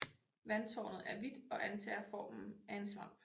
Vandtårnet er hvidt og antager formen af en svamp